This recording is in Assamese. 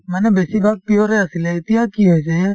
মানে বেছিভাগ pure য়ে আছিলে এতিয়া কি হৈছে